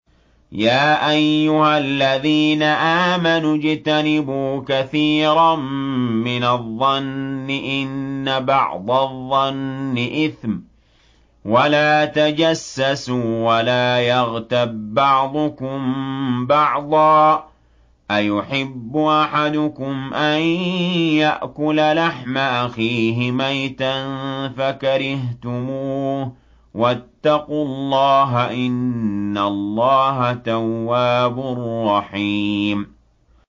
يَا أَيُّهَا الَّذِينَ آمَنُوا اجْتَنِبُوا كَثِيرًا مِّنَ الظَّنِّ إِنَّ بَعْضَ الظَّنِّ إِثْمٌ ۖ وَلَا تَجَسَّسُوا وَلَا يَغْتَب بَّعْضُكُم بَعْضًا ۚ أَيُحِبُّ أَحَدُكُمْ أَن يَأْكُلَ لَحْمَ أَخِيهِ مَيْتًا فَكَرِهْتُمُوهُ ۚ وَاتَّقُوا اللَّهَ ۚ إِنَّ اللَّهَ تَوَّابٌ رَّحِيمٌ